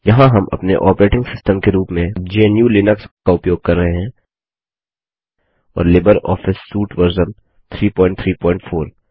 यहाँ हम अपने ऑपरेटिंग सिस्टम के रूप में GNUलिनक्स का उपयोग कर रहे हैं और लिबर ऑफिस सूट वर्जन 334